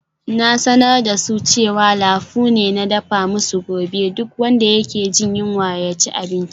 Na sanar da su cewa lafu ne na dafa musu gobe, duk wanda yake jin yunwa ya ci abinci.